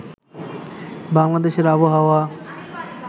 বাংলাদেশের আবহাওয়া